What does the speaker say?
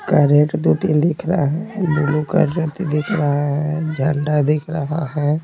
दो तीन दिख रहा है ब्लू दिख रहा है झंडा दिख रहा है।